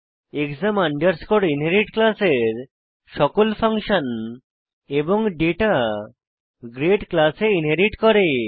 exam underscore inherit ক্লাসের সকল function এবং ডেটা গ্রেড ক্লাসে ইনহেরিট করে